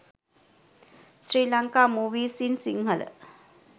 sri lanka movies in sinhala